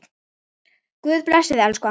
Guð blessi þig, elsku amma.